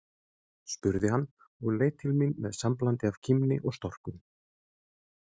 spurði hann og leit til mín með samblandi af kímni og storkun.